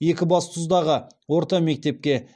екібастұздағы орта мектепке